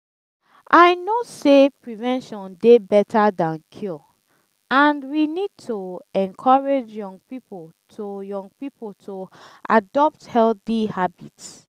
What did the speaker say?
i know say prevention dey beta than cure and we need to encourage young people to young people to adopt healthy habits.